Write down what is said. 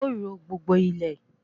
A o ro gbogbo ilẹ́